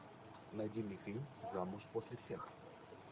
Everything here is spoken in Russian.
найди мне фильм замуж после всех